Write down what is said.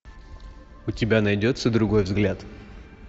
у тебя найдется другой взгляд